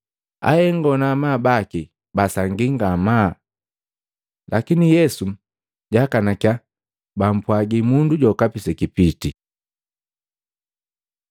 Ahengo na amabu baki basangii ngamaa, lakini Yesu jaakanakiya bampwagi mundu jokapi sekipitii.